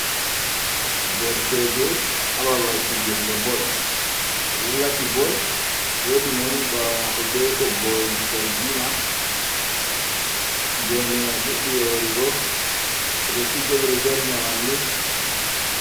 Derkejo haa babal pijirle bol o ɗo lati bol woodi mo woni baawo maako be toggwol zargina geene man fuɗɗi yoorugo ɓe ɗo fija ɓe ɗo jartina ɓanndu